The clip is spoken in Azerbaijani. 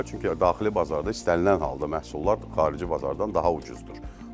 Çünki daxili bazarda istənilən halda məhsullar xarici bazardan daha ucuzdur.